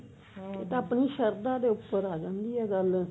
hm ਇਹ ਤਾਂ ਆਪਣੀ ਸ਼ਰਧਾ ਦੇ ਉੱਪਰ ਆ ਜਾਂਦੀ ਹੈ ਗੱਲ